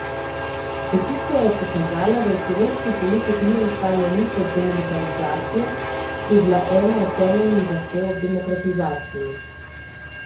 Peticija je pokazala, da v slovenski politiki ni ostalo nič od demilitarizacije, ki je bila ena od temeljnih zahtev ob demokratizaciji.